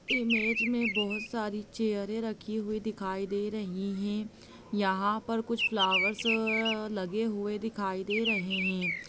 Image मे बहुत सारे चियरे रखी दिखाई दे रही है यहां पर कुछ फ्लॉवर्स लगे हुए दिखाई दे रहे है।